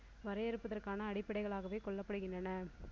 வரையறுப்பதற்கான அடிப்படைகளாகவே கொல்லப்படுகிறனனர்.